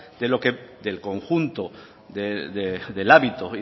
de lo que el conjunto del hábito